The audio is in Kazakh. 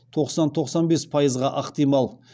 тоқсан тоқсан бес ықтимал